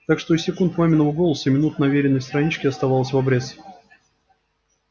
так что и секунд маминого голоса и минут на вериной страничке оставалось в обрез